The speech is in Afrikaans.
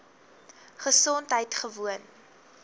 gesondheidgewoon